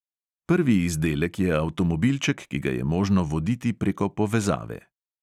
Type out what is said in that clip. Prvi izdelek je avtomobilček, ki ga je možno voditi preko povezave.